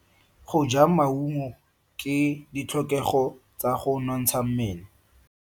Go ja maungo ke ditlhokego tsa go nontsha mmele.